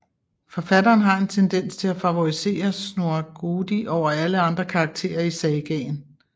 Forfatteren har en tendens til at favorisere Snorre Goði over alle andre karakterer i sagaen